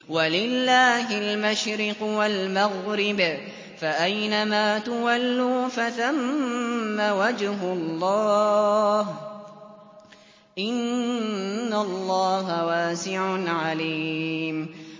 وَلِلَّهِ الْمَشْرِقُ وَالْمَغْرِبُ ۚ فَأَيْنَمَا تُوَلُّوا فَثَمَّ وَجْهُ اللَّهِ ۚ إِنَّ اللَّهَ وَاسِعٌ عَلِيمٌ